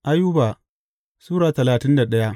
Ayuba Sura talatin da daya